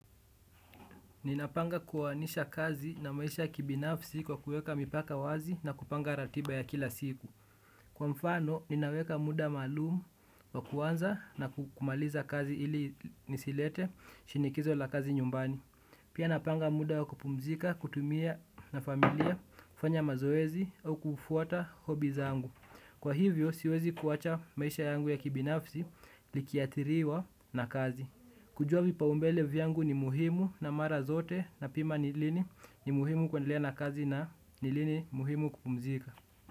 Ninapanga kuoanisha kazi na maisha kibinafsi kwa kuweka mipaka wazi, na kupanga ratiba ya kila siku. Kwa mfano, ninaweka muda maalum wa kuanza na kumaliza kazi, ili nisilete shinikizo la kazi nyumbani. Pia napanga muda wa kupumzika, kutumia na familia, kufanya mazoezi au kufuata hobi zangu. Kwa hivyo, siwezi kuwacha maisha yangu ya kibinafsi likiadhiriwa na kazi. Kujua vipaumbele vyangu ni muhimu, na mara zote napima ni lini ni muhimu kuendelea na kazi, na ni lini muhimu kupumzika.